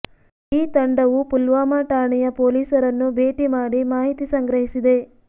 ಈ ತಂಡವು ಪುಲ್ವಾಮಾ ಠಾಣೆಯ ಪೊಲೀಸರನ್ನು ಭೇಟಿ ಮಾಡಿ ಮಾಹಿತಿ ಸಂಗ್ರಹಿಸಿದೆ